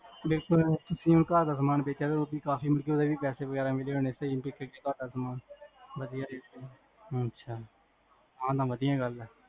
ਬਿਲਕੁਲ ਜਿਵੇਂ ਘਰਦਾ ਸਮਾਨ ਬੇਚਿਆ, ਕਾਫੀ ਮਤਲਬ ਓਦੇ ਵੀ ਪੈਸੇ ਵਗੇਰਾ ਮਿਲੇ ਹੋਣੇ ਸਹੀ ਵਿਕ ਗਯਾ ਸਦਾ ਸਮਾਂ ਸਹੀ rate ਤੇ, ਆਹ ਤਾ ਵਾਦੀਆਂ ਗੱਲ ਹੈ